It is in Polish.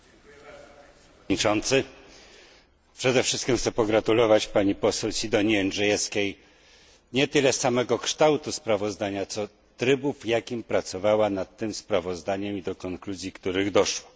Panie Przewodniczący! Przede wszystkim chciałbym pogratulować pani poseł Sidonii Jędrzejewskiej nie tyle samego kształtu sprawozdania, co trybu w jakim pracowała nad tym sprawozdaniem i konkluzji, do których doszła.